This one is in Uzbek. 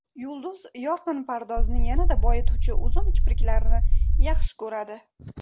Yulduz yorqin pardozni yanada boyituvchi uzun kipriklarni yaxshi ko‘radi.